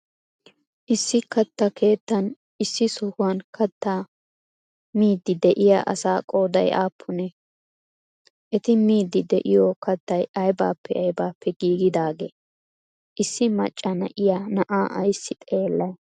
issi kattaa keettan issi sohuwan kattaa miyddi de'iya asaa qooday appunnee? eti miyddi de'iyo kattay aybappe aybappe giggidagee? issi maccaa naa'iya naa'aa aysi xeellay?